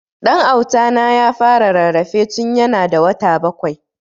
Dan Auta na ya fara rarrafe tun ya na da wata bakwai